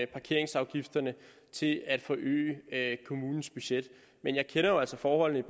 parkeringsafgifterne til at forøge kommunens budget men jeg kender jo altså forholdene i